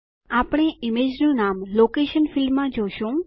આપણે ઈમેજનું નામ લોકેશન ફીલ્ડમાં જોશું